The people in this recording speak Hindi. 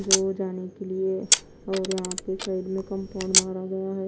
रोज आने के लिए और यहां पे साइड में कंपाउंड मारा गया है।